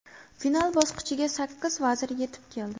Final bosqichiga sakkiz vazir yetib keldi.